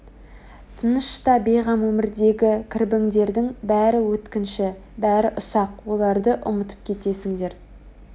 тыныш та бейғам өмірдегі кірбіңдердің бәрі өткінші бәрі ұсақ оларды ұмытып кетесіңдер